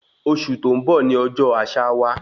Oṣù tó n bọ ní ọjọ àṣà wa